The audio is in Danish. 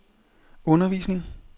undervisning